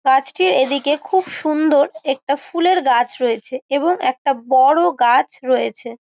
গাছটির এদিকে খুব সুন্দর একটা ফুলের গাছ রয়েছে এবং একটা বড়ো গাছ রয়েছে।